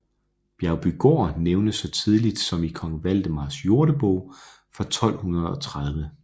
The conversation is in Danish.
Bjergbygaard nævnes så tidligt som i kong Valdemars jordebog fra 1230